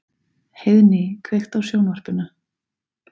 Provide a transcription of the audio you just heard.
Heiðný, kveiktu á sjónvarpinu.